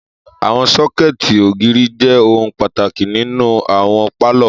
Àwọn sọ́kẹ̀tì ògiri jẹ ohun pàtàkì nínú àwọn pálọ̀.